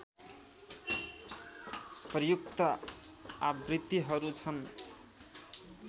प्रयुक्त आवृत्तिहरू छन्